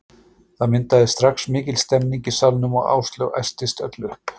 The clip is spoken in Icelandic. Það myndaðist strax mikil stemning í salnum og Áslaug æstist öll upp.